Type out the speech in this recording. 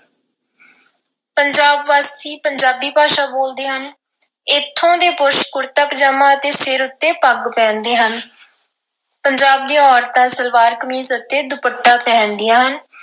ਪੰਜਾਬ ਵਾਸੀ ਪੰਜਾਬੀ ਭਾਸ਼ਾ ਬੋਲਦੇ ਹਨ। ਇਥੋਂ ਦੇ ਪੁਰਸ਼ ਕੁੜਤਾ ਪਜਾਮਾ ਅਤੇ ਸਿਰ ਉੱਤੇ ਪੱਗ ਪਹਿਨਦੇ ਹਨ। ਪੰਜਾਬ ਦੀਆਂ ਔਰਤਾਂ ਸਲਵਾਰ-ਕਮੀਜ਼ ਅਤੇ ਦੁਪੱਟਾ ਪਹਿਨਦੀਆਂ ਹਨ।